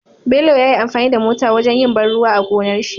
Bello yayi amfani da mota wajan yin ban ruwa a gonarshi